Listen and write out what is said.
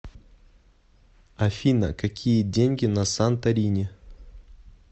афина какие деньги на санторини